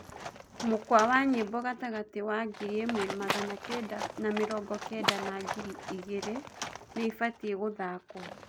mũkwa wa nyĩmbo gatagati wa ngiriĩmwe magana kenda na mĩrongo kenda na ngiriĩgĩrĩ niibatie guthakwo